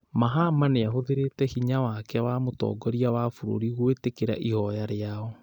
Mahama nĩahũthĩrĩte hinya wake wa mũtongoria wa bũrũri gwĩtĩkĩra ihoya rĩao